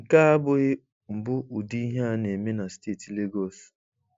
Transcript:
Nke a abụghị mbụ ụdị ihe a na-eme na Steeti Legọs.